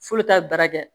F'ulu k'a baara kɛ